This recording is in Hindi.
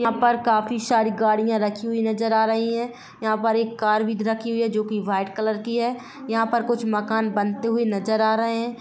यहा पर काफी सारी गाड़ियां रखी हुयीहुई नजर आ रही है यहा पर एक कार भी रखी हुई है जो कि व्हाइट कलर की है यहा पर कुछ मकान बनते हुए नजर आ रहे है।